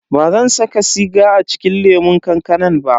Bazan saka siga a cikin lemun kankanan ba.